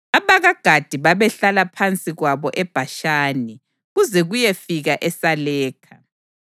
AbakaGadi babehlala phansi kwabo eBhashani, kuze kuyefika eSalekha: